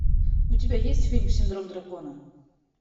у тебя есть фильм синдром дракона